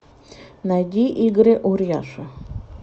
найди игоря урьяша